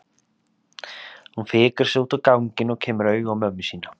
Hún fikrar sig út á ganginn og kemur auga á mömmu sína.